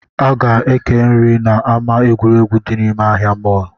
A ga-eke nri na ama egwuregwu dị nime ahịa mall